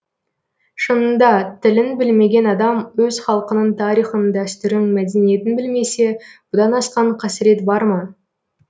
шынында тілін білмеген адам өз халқының тарихын дәстүрін мәдениетін білмесе бұдан асқан қасірет бар ма